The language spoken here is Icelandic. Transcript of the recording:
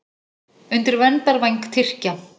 Undir verndarvæng Tyrkja